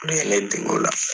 Olu ye ne dege o la.